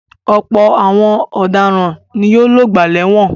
Ọ̀pọ̀ àwọn ọ̀daràn ni yóò lògbà lẹ́wọ̀n.